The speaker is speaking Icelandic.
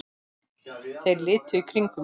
Þeir litu í kringum sig.